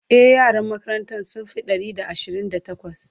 e yaran makarantan sun Fi Ɗari da Ashirin da takwas